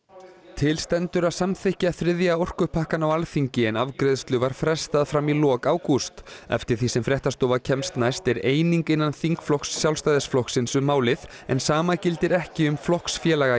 til stendur að samþykkja þriðja orkupakkann á Alþingi en afgreiðslu var frestað fram í lok ágúst eftir því sem fréttastofa kemst næst er eining innan þingflokks Sjálfstæðisflokksins um málið en sama gildir ekki um flokksfélaga í